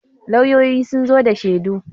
lauyoyi sun zo da shedu